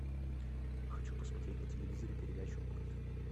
хочу посмотреть на телевизоре передачу мульт